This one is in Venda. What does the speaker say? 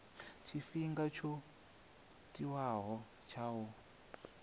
tshifhinga tsho tiwaho tsha u